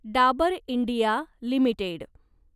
Dabur India limited